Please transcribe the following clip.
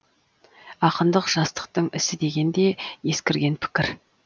ақындық жастықтың ісі деген де ескірген пікір